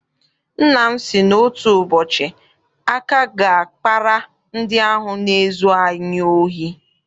Nna m sị na otu ụbọchị aka ga- akpara ndị ahụ na-ezu anyị ohi.